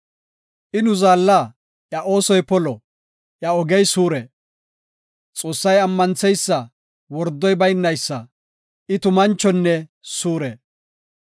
I nu Zaalla; iya oosoy polo; iya ogey suure. Xoossay ammantheysa; wordoy baynaysa; I tumanchonne suure.